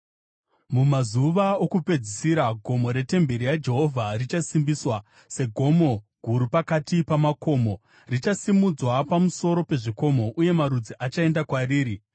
Mumazuva okupedzisira gomo retemberi yaJehovha richasimbiswa segomo guru pakati pamakomo; richasimudzwa pamusoro pezvikomo, uye marudzi achaenda kwariri.